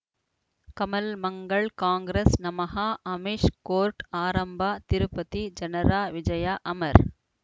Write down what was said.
ಕಮಲ್ ಮಂಗಳ್ ಕಾಂಗ್ರೆಸ್ ನಮಃ ಅಮಿಷ್ ಕೋರ್ಟ್ ಆರಂಭ ತಿರುಪತಿ ಜನರ ವಿಜಯ ಅಮರ್